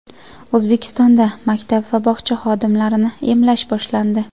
O‘zbekistonda maktab va bog‘cha xodimlarini emlash boshlandi.